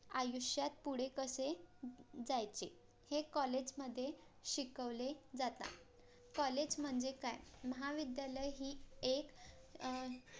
आयुष्यात पुढे कसे जायचे हे COLLAGE मध्ये शिकवले जाता COLLAGE म्हणजे काय महाविद्यालय ही एक अं